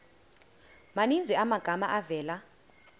maninzi amagama avela